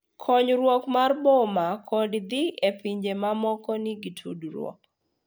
Kuong’ruok mar boma kod dhi e pinje mamoko nigi tudruok.